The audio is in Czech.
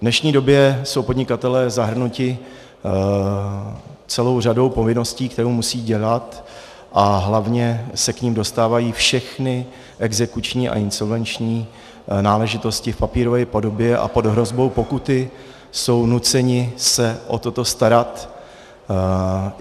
V dnešní době jsou podnikatelé zahrnuti celou řadou povinností, kterou musí dělat, a hlavně se k nim dostávají všechny exekuční a insolvenční náležitosti v papírové podobě a pod hrozbou pokuty jsou nuceni se o toto starat.